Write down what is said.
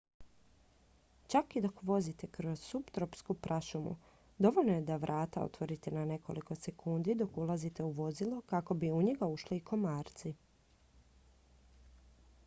čak i dok vozite kroz suptropsku prašumu dovoljno je da vrata otvorite na nekoliko sekundi dok ulazite u vozilo kako bi u njega ušli i komarci